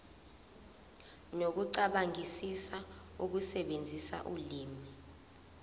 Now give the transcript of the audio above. nokucabangisisa ukusebenzisa ulimi